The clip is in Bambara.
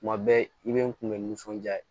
Tuma bɛɛ i be n kunbɛn nisɔnja ye